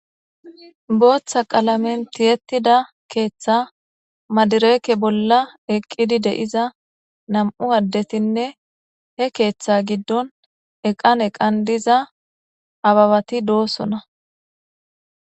booththa qalamenti yettida keeththa madireeke bolla eqqidi de7iza nam7u addetinne he keeththa giddon eqan eqan diza ababati doosona